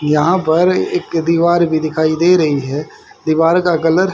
यहां पर एक दीवार भी दिखाई दे रही है दीवार का कलर --